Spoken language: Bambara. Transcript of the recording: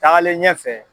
Taagalen ɲɛfɛ